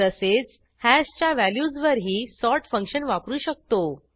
तसेच हॅशच्या व्हॅल्यूजवरही सॉर्ट फंक्शन वापरू शकतो